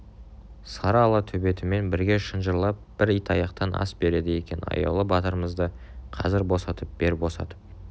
сары ала төбетімен бірге шынжырлап бір итаяқтан ас береді екен аяулы батырымызды қазір босатып бер босатып